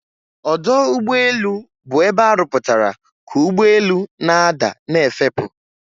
Ọdọugbeelu' bụ ebe arụpụtara ka ugbọelu' na-ada na'efepu'